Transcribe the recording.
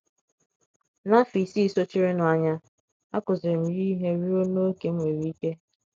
N’afọ isii sochirinụ anya, akụziiri m ya ihe ruo n’ókè m nwere ike.